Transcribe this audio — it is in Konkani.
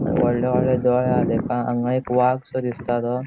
आणि वोडले वोडले दोळे हा तेका हांगा एक वागसो दिसता तो.